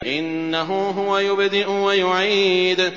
إِنَّهُ هُوَ يُبْدِئُ وَيُعِيدُ